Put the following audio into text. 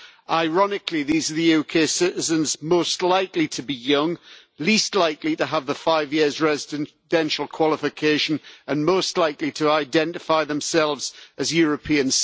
Ironically, these are the UK citizens most likely to be young, least likely to have the five years' residential qualification, and most likely to identify themselves as European.